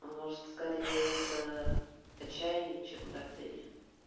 может скорее это отчаяние чем гордыня